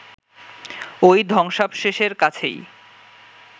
ওই ধ্বংসাবশেষের কাছেই